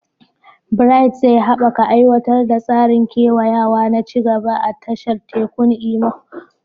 Bright zai haɓaka aiwatar da tsarin kewayawa na ci gaba a tashar tekun Imo.